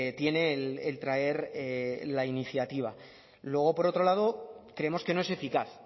tiene el traer la iniciativa luego por otro lado creemos que no es eficaz